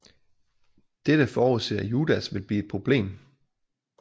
Dette forudser Judas vil blive et problem